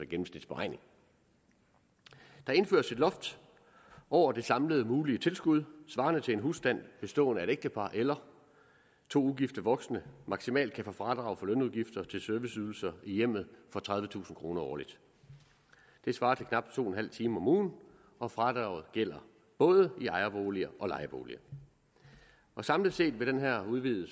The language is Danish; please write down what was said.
gennemsnitsberegning der indføres et loft over det samlede mulige tilskud svarende til at en husstand bestående af et ægtepar eller to ugifte voksne maksimalt kan få fradrag for lønudgifter til serviceydelser i hjemmet for tredivetusind kroner årligt det svarer til knap to en halv time om ugen og fradraget gælder både i ejerboliger og lejeboliger samlet set vil den her udvidede